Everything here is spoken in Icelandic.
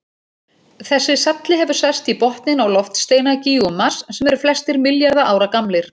Þessi salli hefur sest í botninn á loftsteinagígum Mars sem eru flestir milljarða ára gamlir.